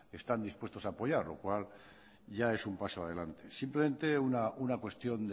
están dispuestos a apoyar lo cual ya es un paso adelante simplemente una cuestión